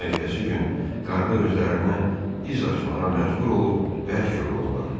Amma ertəsi gün qarda özlərinə iz açmağa məcbur olub bərk yoruldular.